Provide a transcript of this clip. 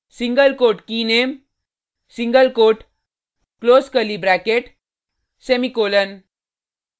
single quote keyname single quote close curly bracket semicolon